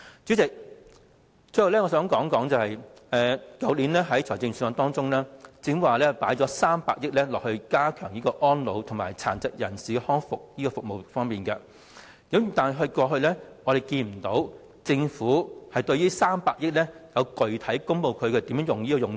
主席，最後我想指出，在去年的預算案中，政府提到會增撥300億元加強安老和殘疾人士康復服務，但我們過去卻沒有聽到政府公布這300億元的具體用途。